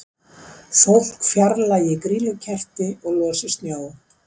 Fólk fjarlægi grýlukerti og losi snjó